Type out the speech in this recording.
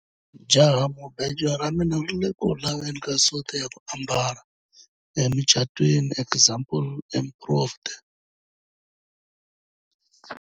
jahamubejo ra mina ri ku le ku laveni ka suti ya ku ambala emucatwiniexample improved